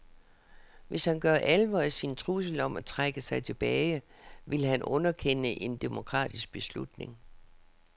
Hvis han gør alvor af sin trussel om at trække sig tilbage, vil han underkende en demokratisk beslutning.